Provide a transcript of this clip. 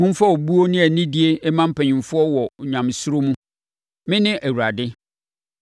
“ ‘Momfa obuo ne anidie mma mpanimfoɔ wɔ Onyamesuro mu. Mene Awurade.